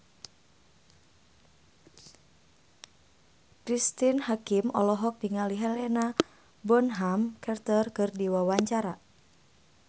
Cristine Hakim olohok ningali Helena Bonham Carter keur diwawancara